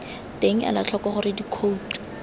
teng ela tlhoko gore dikhouto